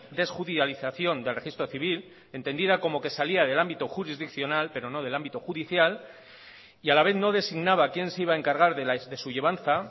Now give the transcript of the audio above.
desjudialización del registro civil entendida como que salía del ámbito jurisdiccional pero no del ámbito judicial y a la vez no designaba quién se iba a encargar de su llevanza